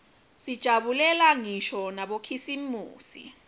sijabulela ngisho nabokhisimusi